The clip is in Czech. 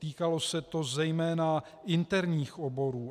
Týkalo se to zejména interních oborů.